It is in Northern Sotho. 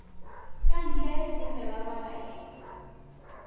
ka ntle le mererwana ye